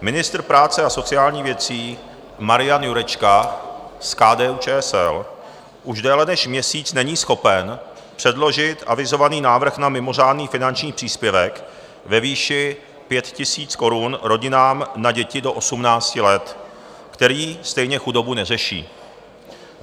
Ministr práce a sociálních věcí Marian Jurečka z KDU-ČSL už déle než měsíc není schopen předložit avizovaný návrh na mimořádný finanční příspěvek ve výši 5 000 korun rodinám na děti do 18 let, který stejně chudobu neřeší.